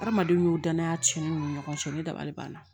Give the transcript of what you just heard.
Hadamaden y'o danaya cɛnni ni ɲɔgɔn cɛ ne dabali banna